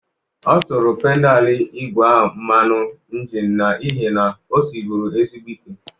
Ọ tụrụ pedalụ igwe a mmanụ ịnjịnị n'ihi na o siribụru ezigbo ike.